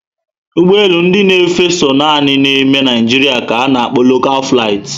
Ụgbọelu ndị na efe so nanị ná ime Naijiria ka ana kpo 'local flight'